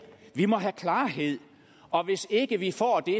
at vi må have klarhed og hvis ikke vi får det